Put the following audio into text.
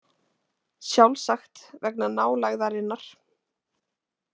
Sjálfsagt vegna nálægðarinnar.